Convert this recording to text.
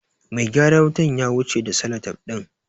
Mai gyaran wutan ya wuce da salatef ɗin.